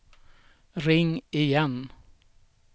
ring igen